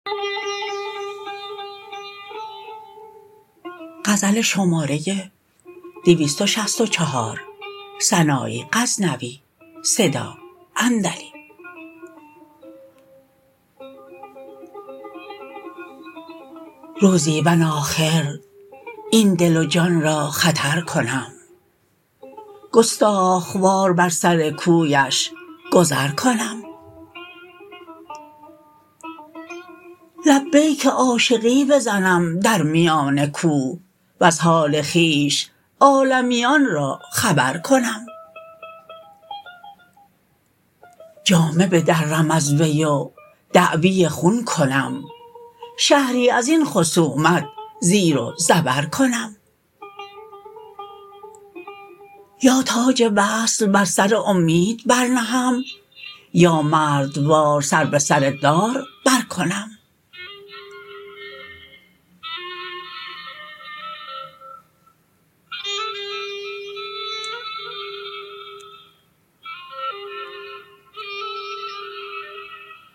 روزی من آخر این دل و جان را خطر کنم گستاخ وار بر سر کویش گذر کنم لبیک عاشقی بزنم در میان کوه وز حال خویش عالمیان را خبر کنم جامه بدرم از وی و دعوی خون کنم شهری ازین خصومت زیر و زبر کنم یا تاج وصل بر سر امید برنهم یا مردوار سر به سر دار برکنم